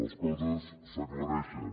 les coses s’aclareixen